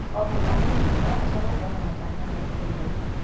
O mũthaki arabatara gũkorwo na matanya ma ihinda iraihu.